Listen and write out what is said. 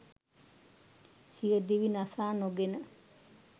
සියදිවි නසා නොගෙන